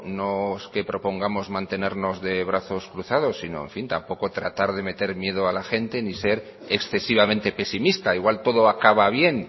no es que propongamos mantenernos de brazos cruzados sino tampoco tratar de meter miedo a la gente ni ser excesivamente pesimista igual todo acaba bien